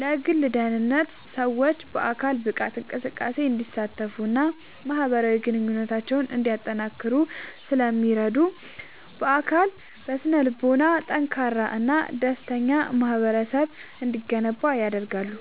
ለግል ደህንነት፦ ሰዎች በአካል ብቃት እንቅስቃሴ እንዲሳተፉና ማኅበራዊ ግንኙነታቸውን እንዲያጠናክሩ ስለሚረዱ፣ በአካልና በስነ-ልቦና ጠንካራና ደስተኛ ማኅበረሰብ እንዲገነባ ያደርጋሉ።